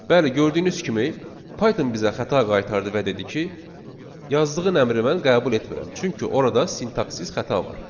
Bəli, gördüyünüz kimi Python bizə xəta qaytardı və dedi ki, yazdığın əmri mən qəbul etmirəm, çünki orada sintaksiz xəta var.